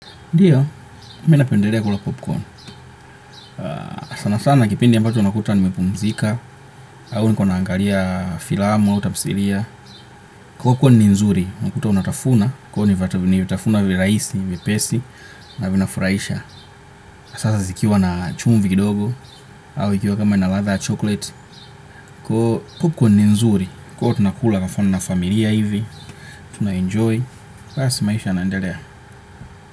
Ndiyo, mi napendelea kula popcorn. Sana sana kipindi ambacho unakuta nimepumzika, au nilikuwa naangalia filamu au tafsiria. Popcorn ni nzuri, unakuta unatafuna. Kwani vata huni vitafuna virahisi, vipesi, na vinafurahisha. Sasa zikiwa na chumvi kidogo, au ikiwa kama ina ladha ya chocolate. Popcorn ni nzuri, huwa tunakula na na familia hivi. Tunaejoy. Basi maisha yanaendelea.